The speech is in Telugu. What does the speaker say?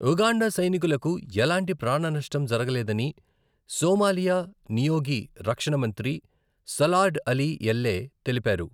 ఉగాండా సైనికులకు ఎలాంటి ప్రాణనష్టం జరగలేదని సోమాలియా నియోగి రక్షణ మంత్రి సలార్డ్ అలీ ఎల్లే తెలిపారు.